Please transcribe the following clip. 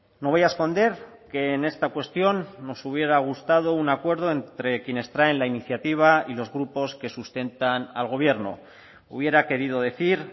no voy a esconder que en esta cuestión nos hubiera gustado un acuerdo entre quienes traen la iniciativa y los grupos que sustentan al gobierno hubiera querido decir